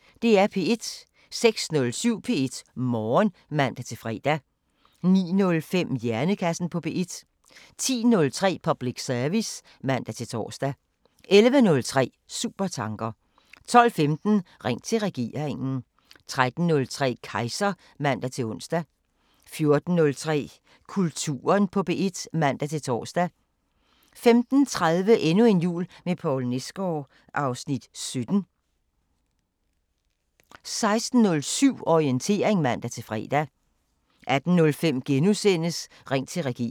06:07: P1 Morgen (man-fre) 09:05: Hjernekassen på P1 10:03: Public service (man-tor) 11:03: Supertanker 12:15: Ring til regeringen 13:03: Kejser (man-ons) 14:03: Kulturen på P1 (man-tor) 15:30: Endnu en jul med Poul Nesgaard (Afs. 17) 16:07: Orientering (man-fre) 18:05: Ring til regeringen *